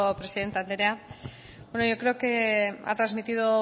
presidente andrea bueno yo creo que ha trasmitido